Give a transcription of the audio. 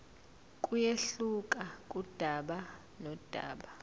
kuyehluka kudaba nodaba